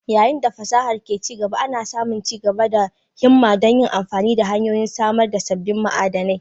Yayin da fasahar ke ci gaba, ana samun ci gaba da himma don yin amfani da hanyoyin samar sabbin ma'adanai